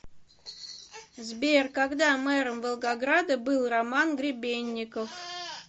сбер когда мэром волгограда был роман гребенников